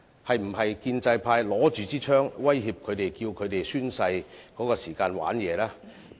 是否建制派拿着手槍威脅他們在宣誓時耍花樣呢？